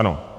Ano.